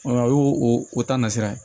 A y'o o ta nasira